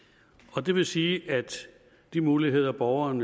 og det vil sige at de muligheder borgeren